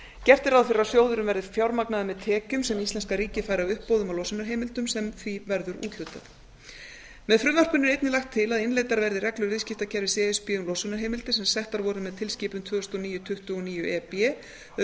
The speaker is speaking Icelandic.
gert er ráð fyrir að sjóðurinn verði fjármagnaður með tekjum sem íslenska ríkið fær af uppboðum á losunarheimildum sem því verður úthlutað með frumvarpinu er einnig lagt til að innleiddar verði reglur viðskiptakerfis e s b um losunarheimildir sem settar voru með tilskipun tvö þúsund og níu tuttugu og níu e b um